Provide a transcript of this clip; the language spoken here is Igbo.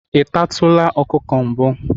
ị tatụla ọkụkọ mbụ